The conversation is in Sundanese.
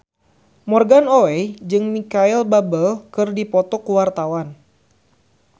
Morgan Oey jeung Micheal Bubble keur dipoto ku wartawan